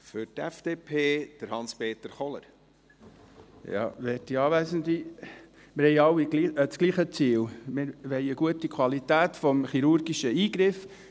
Wir haben alle dasselbe Ziel: Wir wollen eine gute Qualität des chirurgischen Eingriffs.